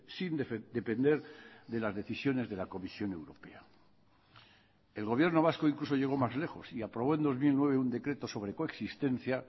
sin depender de las decisiones de la comisión europea el gobierno vasco incluso llegó más lejos y aprobó en dos mil nueve un decreto sobre coexistencia